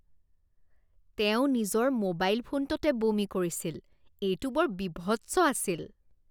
তেওঁ নিজৰ মোবাইল ফোনটোতে বমি কৰিছিল। এইটো বৰ বীভৎস আছিল।